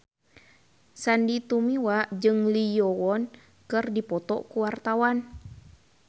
Sandy Tumiwa jeung Lee Yo Won keur dipoto ku wartawan